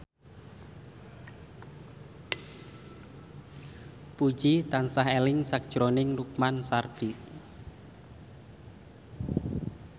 Puji tansah eling sakjroning Lukman Sardi